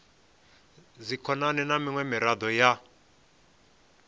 dzikhonani na miṅwe miraḓo ya